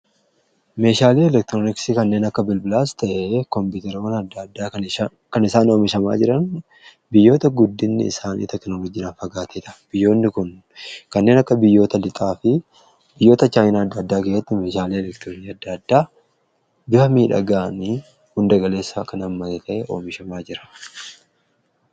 meeshaalii elektirooniksi kanneen akka bilbilaas ta'e koompiteroonni adda addaa kan isaan oomishamaa jiran biyyoota guddinni isaanii tekinoolojiirraa fagaateedha. biyyoonni kun kanneen akka lixaa fi biyyoota chaayiina adda addaa gayyatti meeshaalii eleektiroonii addaaddaa bifa miidhagaanii hundagaleessa kan ammate oomishamaa jira.